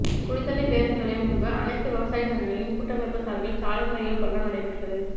குளித்தலை பேருந்து நிலையம் முன்பு அனைத்து விவசாய சங்கங்களின் கூட்டமைப்பு சார்பில் சாலை மறியல் போராட்டம் நடைபெற்றது